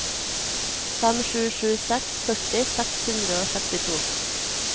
fem sju sju seks førti seks hundre og sekstito